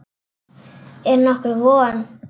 Er nokkur von?